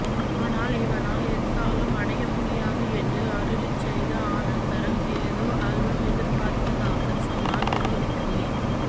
ஆனால் இவனால் எத்தாலும் அடைய முடியாது என்று அருளிச் செய்த அனந்தரம் ஏதோ அல்பம் எதிர்பார்ப்பதாக சொன்னால் விரோதிக்குமே